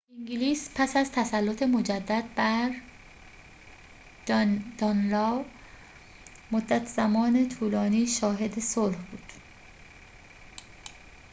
انگلیس پس از تسلط مجدد بر دانلاو مدت زمان طولانی شاهد صلح بود